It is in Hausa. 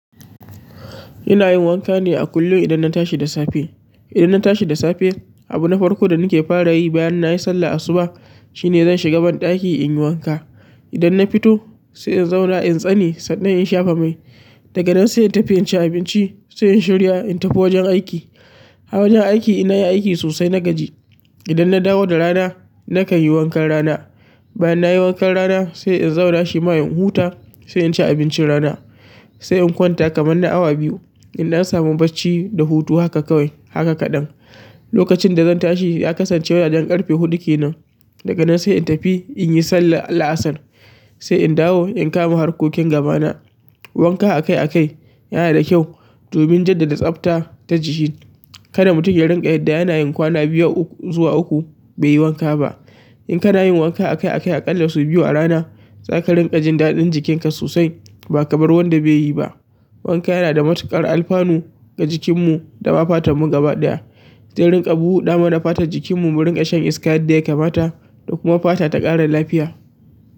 Ina yin wanka ne a kullum idan na tashi da safe. Idan na tashi da safe, abu na farko da nake fara yi bayan nayi sallar asubah shine zan shiga banɗaki in yi wanka. Idan na fito sai in zauna in tsane sannan in shafa mai. Daga nan sai in tafi in cinabinci, sainin shirya in tafinwurin aiki. A wajen aiki in na yi aiki sosai na gaji. Idan na dawo da rana nakan yi wankan rana. Bayan na yi wankan rana sai in zauna shima in huta, sai in ci abincin rana, sai in kwanta kamar na awa biyu. Idan na samu barci da hutu haka kawai, haka ka ɗan. Lokacin da zan tashi ya kasance wajen ƙarfe huɗu kenan. Daga nan sai in tafi in yi sallar la'asar, sai in dawo in kama harkokin gaba na wanka akai akai yana da kyau domin jaddada tsafta ta jiki. Kada mutum ya rinƙa yadda yana yin kwana biyu zuwa uku bai yi wanka ba. In kana yin wanka akai akai aƙalla sau biyu a rana, zaka rinƙa jin daɗin jikin ka sosai ba kamar wanda bai yi ba. Wanka yana da matuƙar alfanu ga jikinmu da ma fatan mu gaba ɗaya. Zai rinƙa buɗa mana fatar jikinmu mu rinƙa shan iska yadda ya kamata, da kuma fata ta ƙara lafiya.